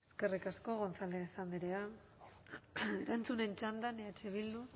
eskerrik asko gonzález andrea erantzunen txandan eh bildu